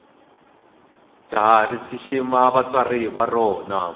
jahha rishishima vatswari varona